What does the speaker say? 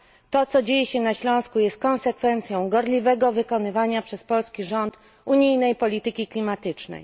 To, co dzieje się na Śląsku, jest konsekwencją gorliwego wykonywania przez polski rząd unijnej polityki klimatycznej.